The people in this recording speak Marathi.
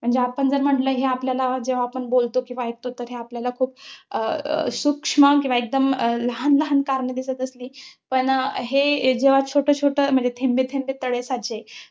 म्हणजे आपण जर म्हंटल, हे आपल्याला जेव्हा आपण बोलतो किंवा ऐकतो, तर ते आपल्याला अं खुप सूक्ष्म किंवा एकदम लहान लहान कारणं दिसत असली. पण हे जेव्हा छोटं छोटं, म्हणजे थेंबेथेंबे तळे साचे.